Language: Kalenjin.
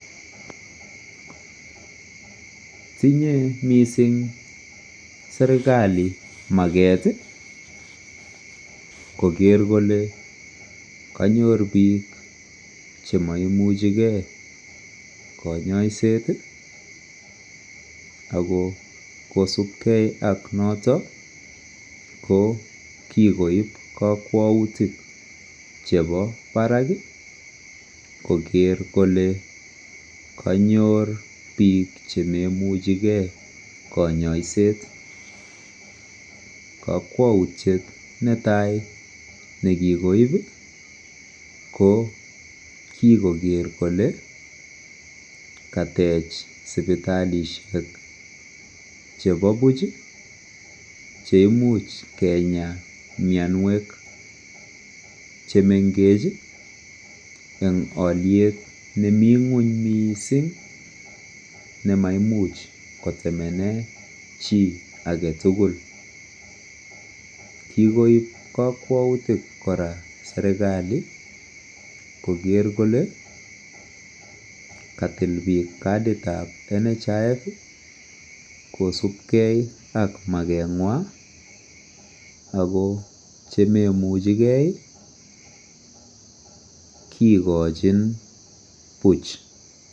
Tinyei mising serikali maket koker kole kanyor biik chemaimuchikei kanyaiset ako kosupkei ak noto ko kikoip kakwautik chebo barak koker kole kanyor biik chememuchegei konyoiset kokwoutiet netai nekikoip ko kikoker kole katech sipitalishek chebo puch cheimuch keenya mionwek che mengech eng oliet nemi ng'weny miising nemaimuch kotemene chi aketukul kikoip kakwautik kora serikali koker kole katil biik kadit ap NHIF kosupkei ak makengwai ako chememuchegei kikochin Puch.